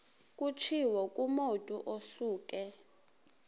kutshiwo kumotu osuke